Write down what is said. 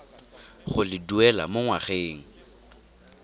go le duela mo ngwageng